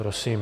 Prosím.